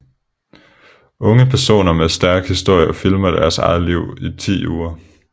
Unge personer med en stærk historie filmer deres eget liv i 10 uger